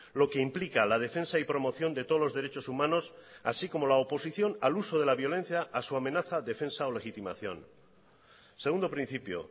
lo que implica la defensa y promoción de todos los derechos humanos así como la oposición al uso de la violencia a su amenaza defensa o legitimación segundo principio